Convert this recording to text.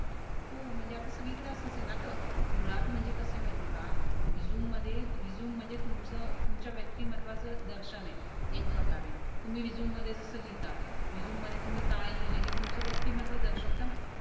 हो म्हणजे सगळी कडे आता असच ये ना ग मुळात कस ये माहिती ये का? रेझूमे म्हणजे तुमच तुमच्या व्यक्तीमत्वाच दर्शन ये. एक प्रकारे तुम्ही रेझूमे मध्ये जस लिहिता. रेझूमे मध्ये तुम्ही काय लिहील ये हे तुमच व्यक्ती महत्व दर्शवत ना?